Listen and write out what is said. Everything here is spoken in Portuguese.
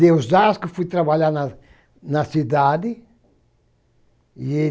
De Osasco que eu fui trabalhar na cidade.